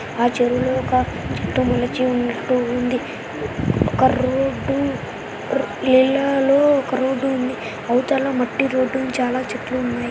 ఆ చెరువులో ఒక చెట్టు మొలచి ఉన్నట్టు ఉంది. ఒక రోడ్డు ర్ నీళ్ళలో ఒక రోడ్డు ఉంది. అవతల మట్టి రోడ్డు చాలా చెట్లు ఉన్నాయి.